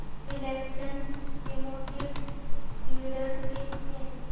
Reliance Chemotex dividend pay किती आहे